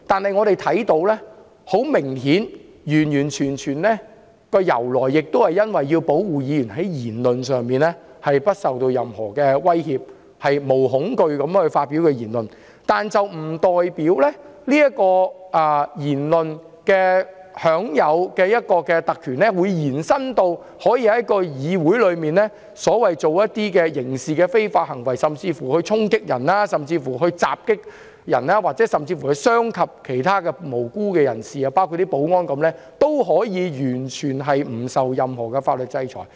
很明顯，特權的由來完全是基於要保護議員在言論上不受任何威脅，可以毫無畏懼地發表言論，但不代表在言論上享有的特權可以延伸至在議會作出觸犯刑事罪行的非法行為，甚至衝擊、襲擊別人，傷及其他無辜人士，包括保安人員，而完全不受任何法律制裁。